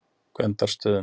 Gvendarstöðum